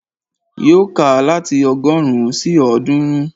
Yóò kà láti ọgọ́rùn-ún sí ọ̀ọ́dúnrún